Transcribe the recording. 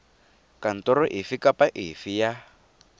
kantoro efe kapa efe ya